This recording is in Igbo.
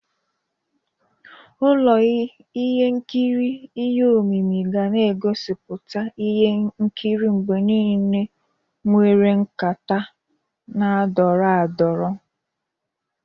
Ụlọ ihe nkiri ihe omimi ga na-egosiputa ihe nkiri mgbe niile nwere nkata na-adọrọ adọrọ.